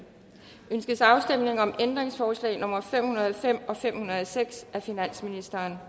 ønskes afstemning om ændringsforslag nummer fem hundrede og fem og fem hundrede og seks af finansministeren